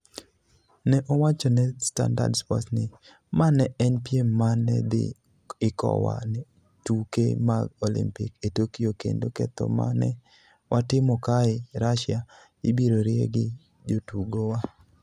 Ne owacho ne Standard Sports ni, "Ma ne en piem ma ne dhi ikowa ne tuke mag Olimpik e Tokyo kendo ketho ma ne watimo kae (Russia), ibiro rie gi jotugowa".